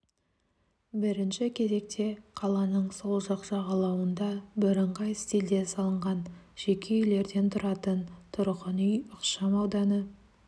бірінші кезекте қаланың сол жақ жағалауында бірыңғай стильде салынған жеке үйлерден тұратын тұрғын үй ықшам ауданы